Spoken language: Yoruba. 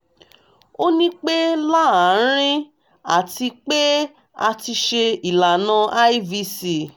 o ni pe laarin ati pe a ti ṣe ilana ivc